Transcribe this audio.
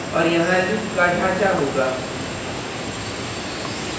और यहाँ loop का ढाँचा होगा